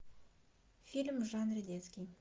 фильм в жанре детский